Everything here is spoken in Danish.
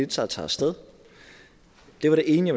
taget tager af sted det var det ene